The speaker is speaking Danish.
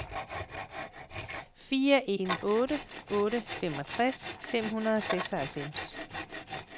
fire en otte otte femogtres fem hundrede og seksoghalvfems